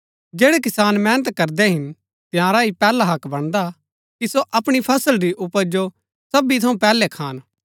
जैड़ै किसान मेहनत करदै हिन तंयारा ही पैहला हक्क बणदा हा कि सो अपणी फसल री उपज जो सबी थऊँ पैहलै खान